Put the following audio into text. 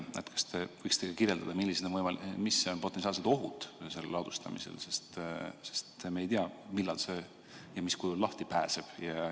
Kas te võiksite kirjeldada, millised on potentsiaalsed ohud ladustamisel, sest me ei tea, millal ja mis kujul see lahti pääseb?